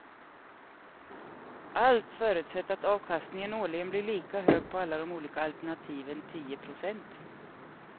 Allt förutsatt att avkastningen årligen blir lika hög på alla de olika alternativen, tio procent.